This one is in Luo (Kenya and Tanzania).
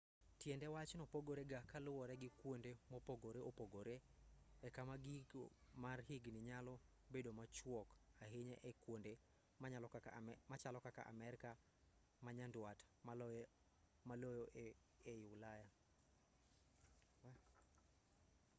tiend wachno pogore ga ka luwore gi kuonde mopogore opogore e kama giko mar higni nyalo bedo machuok ahinya ei kuonde machalo kaka amerka ma nyanduat maloyo ei ulaya